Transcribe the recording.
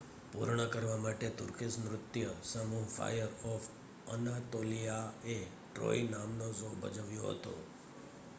"પૂર્ણ કરવા માટે તુર્કીશ નૃત્ય સમૂહ ફાયર ઓફ અનાતોલિયાએ "ટ્રોય" નામનો શો ભજવ્યો હતો.